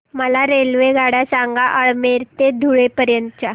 मला रेल्वेगाड्या सांगा अमळनेर ते धुळे पर्यंतच्या